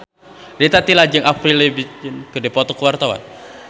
Rita Tila jeung Avril Lavigne keur dipoto ku wartawan